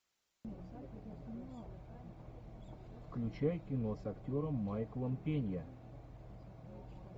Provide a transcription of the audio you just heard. включай кино с актером майклом пенья